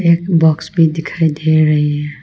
एक बॉक्स भी दिखाई दे रही है।